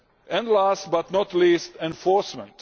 and last but not least, enforcement.